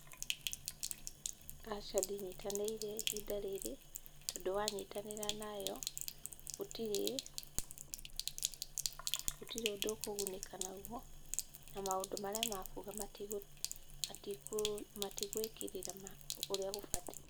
Aca ndinyitanĩire ihinda rĩrĩ tondũ wanyitanĩra nayo gũtirĩ, gũtirĩ ũndũ ũkũgunĩka nayo na maũndũ marĩa makuuga matigũĩkĩrĩra ũrĩa gũbatiĩ.